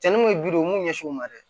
Cɛnni mun ye ye u m'u ɲɛsin u ma dɛ